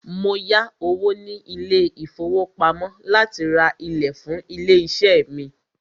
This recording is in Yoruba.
Mó yá owó ní ilé ìfọwọ́pamo láti rá ìlẹ̀ fún ilé iṣé mí.